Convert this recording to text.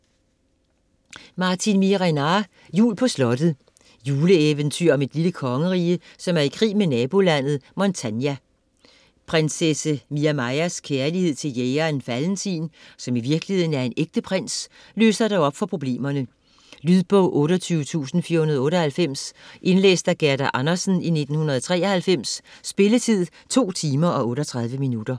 Miehe-Renard, Martin: Jul på slottet Juleeventyr om et lille kongerige, som er i krig med nabolandet Montania. Prinsesse Miamajas kærlighed til jægeren Valentin, som i virkeligheden er en ægte prins, løser dog op for problemerne. Lydbog 28498 Indlæst af Gerda Andersen, 1993. Spilletid: 2 timer, 38 minutter.